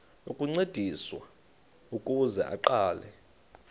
ukuncediswa ukuze aqale